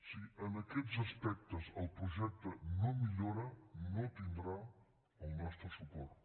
si en aquests aspectes el projecte no millora no tindrà el nostre suport